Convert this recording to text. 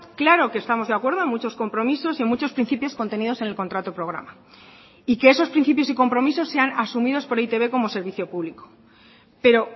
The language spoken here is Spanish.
claro que estamos de acuerdo en muchos compromisos y en muchos principios contenidos en el contrato programa y que esos principios y compromisos sean asumidos por e i te be como servicio público pero